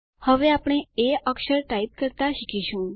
હવે આપણે એ અક્ષર ટાઇપ કરતા શીખીશું